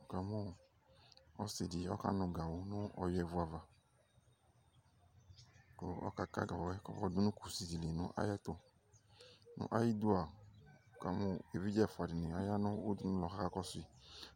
Wʋkamʋ ɔsɩ dɩ ɔkanʋ gawʋ nʋ ɔyʋɛvu ava Kʋ ɔkaka gawʋ yɛ kɔmayɔ dʋ kusi dɩ li nʋ ayɛtʋ Nʋ ayidua, wʋkamʋ evidze ɛfʋa dɩnɩ aya nʋ udunulɔ kʋ akakɔsʋ yɩ